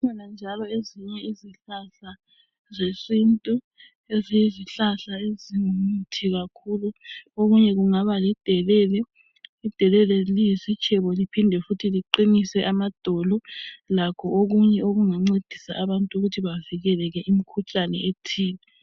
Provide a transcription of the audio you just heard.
Kukhona njalo ezinye izihlahla zesintu eziyizihlahla ezingumuthi kakhulu. Okunye kungaba lidelele. Idelele liyisitshebo lphinde futhi liqinise amadolo, lakho okunye okungancedisa abantu ukuthi bavikeleke kumikhuhlane ethile.